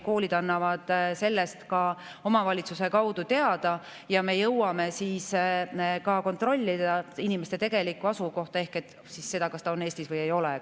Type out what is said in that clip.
Koolid annavad sellest ka omavalitsuse kaudu teada ja me jõuame siis kontrollida inimese tegelikku asukohta ehk seda, kas ta on Eestis või ei ole.